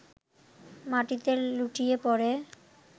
মাটিতে লুটিয়ে পড়ে